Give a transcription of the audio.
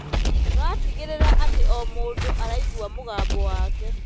Tũratigĩrĩra atĩ o mũndũ araigua mũgambo wake.